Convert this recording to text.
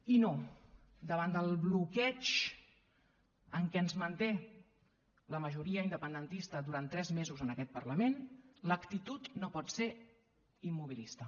i no davant del bloqueig en què ens manté la majoria independentista durant tres mesos en aquest parlament l’actitud no pot ser immobilista